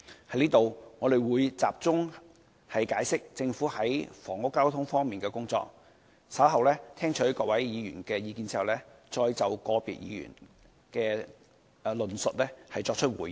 這裏，我會集中解釋政府在房屋及交通方面的工作，稍後在聽取各位議員的意見後，會再就個別議員的論述作出回應。